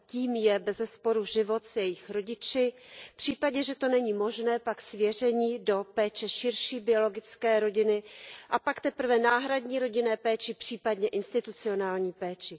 Tím je bezesporu život s jeho rodiči, v případě, že to není možné, pak svěření do péče širší biologické rodiny a pak teprve náhradní rodinné péče, případně institucionální péče.